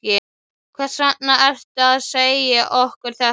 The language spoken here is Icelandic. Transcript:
Hvers vegna ertu að segja okkur þetta?